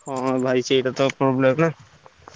ହଁ ଭାଇ ସେଇକଥା problem ।